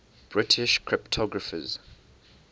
british cryptographers